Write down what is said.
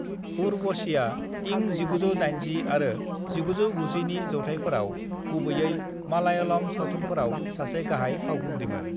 उर्वशीआ इं 1980 आरो 1990 नि जौथाइफोराव गुबैयै मालायालम सावथुनफोराव सासे गाहाय फावखुंग्रिमोन।